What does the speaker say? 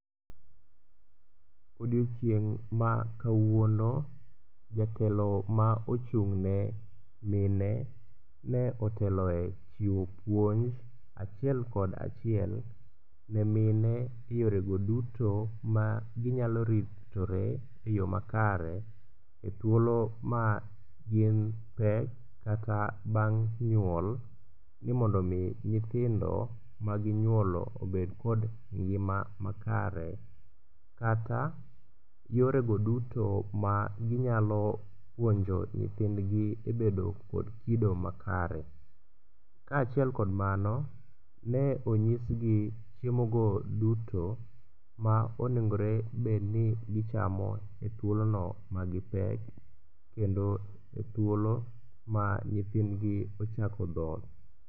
Odiechieng' ma kawuono jatelo ma ochung'ne mine ne otelo e chiwo puonj achiel kod achiel ne mine yorego duto ma ginyalo ritore e yo makare e thuolo maginpek kata bang' nyuol ni mondo omi nyithindo maginyuolo obed kod ngima makare kata yorego duto maginyalo puonjo nyithindgi e bedo kod kido makare. Kaachiel kod mano ne onyisgi chiemogo duto ma onegore bedni gichamo e thuolono magipek kendo e thuolo ma nyithindgi ochako dhoth.